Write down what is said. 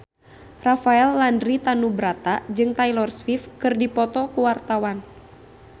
Rafael Landry Tanubrata jeung Taylor Swift keur dipoto ku wartawan